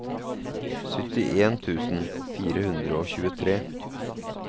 syttien tusen fire hundre og tjuetre